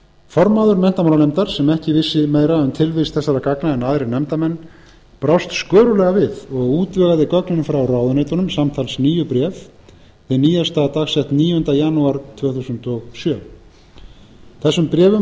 formaður menntamálanefndar sem ekki vissi meira um tilvist þessara gagna en aðrir nefndarmenn brást skörulega við og útvegaði gögnin frá ráðuneytunum samtals níu bréf hið nýjasta dagsett níunda janúar tvö þúsund og sjö þessum bréfum